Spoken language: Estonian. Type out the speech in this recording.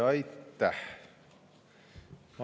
Aitäh!